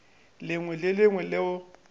lengwe le le lengwe leo